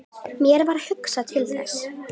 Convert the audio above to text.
Mér varð hugsað til Þessi!